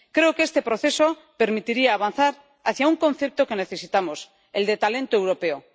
Creo que este proceso permitiría avanzar hacia un concepto que necesitamos el de talento europeo.